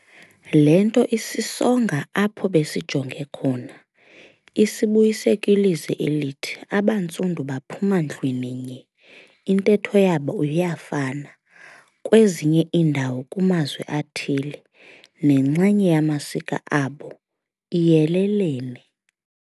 Le nto isisonga apho besijonge khona, isibuyise kwilizwi elithi, "AbaNtsundu baphuma ndlwininye, intetho yabo iyafana kwezinye iindawo kumazwi athile, nenxenye yamasiko abo iyelelene."